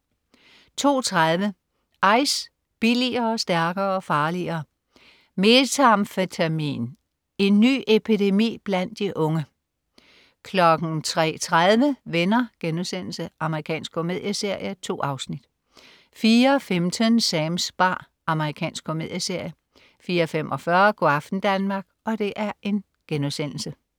02.30 Ice, billigere, stærkere, farligere. Methamfetamin, en ny epidemi blandt de unge? 03.30 Venner.* Amerikansk komedieserie. 2 afsnit 04.15 Sams bar. Amerikansk komedieserie 04.45 Go' aften Danmark*